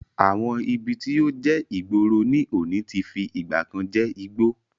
Àwọn ibi tí ó jẹ́ ìgboro ní òní ti fi ìgbàkan je igbó